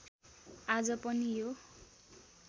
आज पनि यो